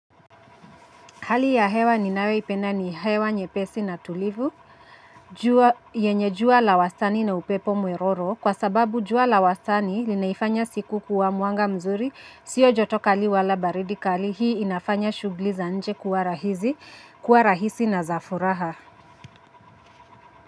Hali ya hewa ninae ipenda ni hewa nyepesi na tulivu, jua yenye jua la wastani na upepo mweroro, kwa sababu jua la wastani linaifanya siku kuwa muanga mzuri, sio joto kali wala baridi kali, hii inafanya shugli za nje kuwa rahisi na za furaha.